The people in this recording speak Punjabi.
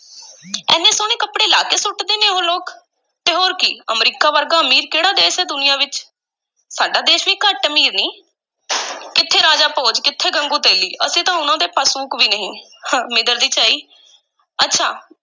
ਐਨੇ ਸੋਹਣੇ ਕੱਪੜੇ ਲਾਹ ਕੇ ਸੁੱਟਦੇ ਨੇ ਉਹ ਲੋਕ, ਤੇ ਹੋਰ ਕੀ ਅਮਰੀਕਾ ਵਰਗਾ ਅਮੀਰ ਕਿਹੜਾ ਦੇਸ ਹੈ ਦੁਨੀਆ ਵਿੱਚ, ਸਾਡਾ ਦੇਸ ਵੀ ਘੱਟ ਅਮੀਰ ਨਹੀਂ ਕਿੱਥੇ ਰਾਜਾ ਭੋਜ, ਕਿਥੇ ਗੰਗੂ ਤੇਲੀ, ਅਸੀਂ ਤਾਂ ਉਹਨਾਂ ਦੇ ਪਸੂਕ ਵੀ ਨਹੀਂ ਮਿੰਦਰ ਦੀ ਝਾਈ, ਅੱਛਾ।